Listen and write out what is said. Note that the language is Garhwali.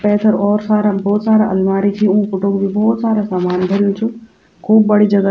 पैथर और सारा भौत सारा अलमारी छीन ऊ पुटग बि भौत सारा सामान भुर्यु च खूब बडी जगह --